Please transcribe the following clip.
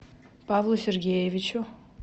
павлу сергеевичу